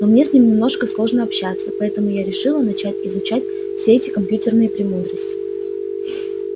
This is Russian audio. но мне с ним немножко сложно общаться поэтому я решила начать изучать все эти компьютерные премудрости